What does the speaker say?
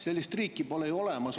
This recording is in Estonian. Sellist riiki pole ju olemas.